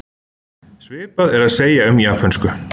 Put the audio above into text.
svipað er að segja um japönsku